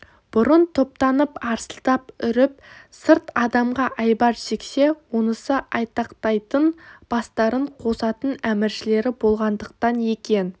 бұрын топтанып арсылдап үріп сырт адамға айбар шексе онысы айтақтайтын бастарын қосатын әміршілері болғандықтан екен